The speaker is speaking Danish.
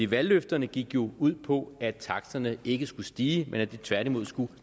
valgløfterne gik jo ud på at taksterne ikke skulle stige men at de tværtimod skulle